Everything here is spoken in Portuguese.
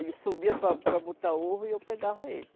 Ele subia para para botar ovo e eu pegava ele.